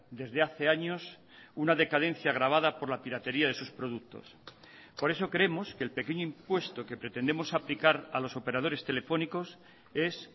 desde hace años una decadencia agravada por la piratería de sus productos por eso creemos que el pequeño impuesto que pretendemos aplicar a los operadores telefónicos es